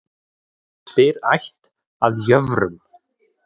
Spyr ætt að jöfrum.